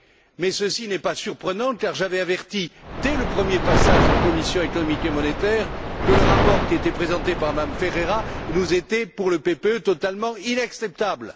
Mais ceci n'est pas surprenant, car j'avais averti dès le premier passage en commission économique et monétaire que le rapport qui était présenté par Mme Ferreira était pour nous, au PPE, totalement inacceptable.